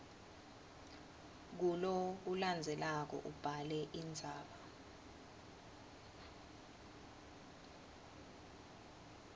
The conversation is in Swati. kulokulandzelako ubhale indzaba